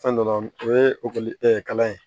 Fɛn dɔ la o ye kalan ye